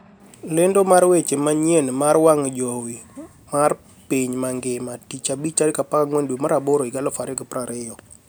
Lendo mar weche manyien mar wang jowi mar piny mangima tich abich 14/08/2020